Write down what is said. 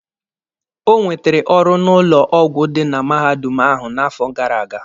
O nwetere ọrụ n'ụlọ ọgwụ dị na mahadum ahụ n'afọ gara aga.